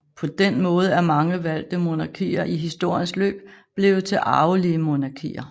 På den måde er mange valgte monarkier i historiens løb blevet til arvelige monarkier